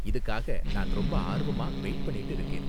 இதுக்காக நான் ரொம்ப ஆர்வமா வெயிட் பண்ணிட்டு இருக்கேன்.